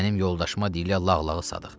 Mənim yoldaşıma deyirlər lağlağı Sadıq.